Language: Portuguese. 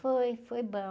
Foi, foi bom.